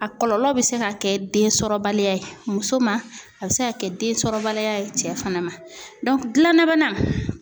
A kɔlɔlɔ bɛ se ka kɛ den sɔrɔbaliya ye muso ma, a bɛ se ka kɛ densɔrɔbaliya ye cɛ fana ma dilanna bana